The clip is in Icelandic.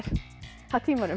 af tímanum